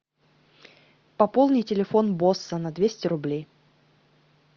пополни телефон босса на двести рублей